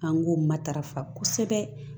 An k'o matarafa kosɛbɛ